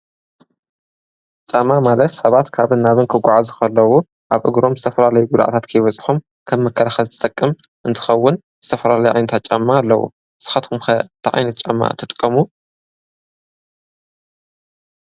ጫማ ማለት ሰባት ካብ ናብን ክጐዓዙ ኸለዉ ኣብ እግሮም ዝተፈላለዩጉድኣታት ከይበጽሖም ከም መከላኸሊ ዝጠቅም እንትኸውን ዝተፈላለዩ ዓይነታት ጫማ ኣለዉ፡፡ ንስኻትኩም ከ ታይ ዓይንት ጫማ ትጥቀሙ?